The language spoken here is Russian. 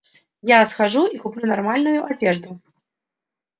я схожу и куплю нормальную одежду